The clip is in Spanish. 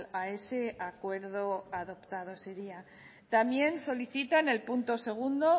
a ese acuerdo adoptado ese día también solicita en el punto segundo